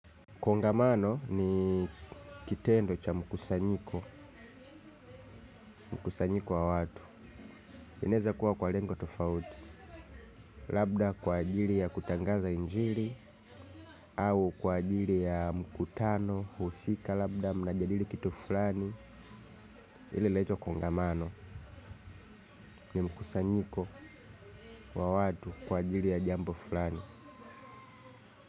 Kongamano ni kitendo cha mkusanyiko, mkusanyiko wa watu, inaweza kuwa kwa lengo tofauti. Labda kwa ajili ya kutangaza injili au kwa ajili ya mkutano, husika labda, mnajadili kitu fulani. Ile inaitwa kongamano ni mkusanyiko wa watu kwa ajili ya jambo fulani.